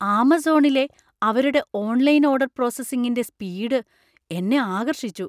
ആമസോണിലെ അവരുടെ online order പ്രോസസ്സിംഗിന്‍റെ speed എന്നെ ആകർഷിച്ചു.